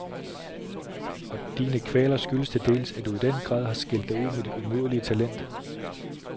Og dine kvaler skyldes til dels, at du i den grad har skilt dig ud med dit umådelige talent.